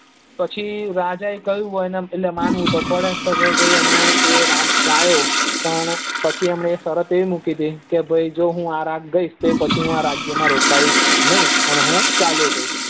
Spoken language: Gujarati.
પછી રાજાએ કહ્યું એટલે માનવું તો પડે તો ભાઈ અમે એ રાગ ગાયો તો એમને પણ પછી એમને સરત એવી મૂકી હતી કે ભાઈ જો આ રાગ ગાઇશ તો રાજ્ય માં રોકાઈસ નઈ ચાલ્યો જઈશ